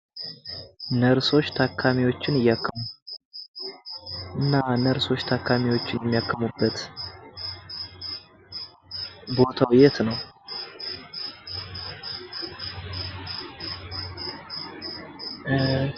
ነርሶች ታካሚዎችን እያከሙ። እና ነርሶች ታካሚዎችን የሚያክሙበት ቦታዉ የት ነዉ?